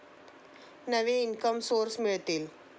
नवे income source मिळतील.